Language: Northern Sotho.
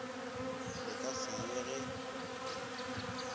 le ka se ye ge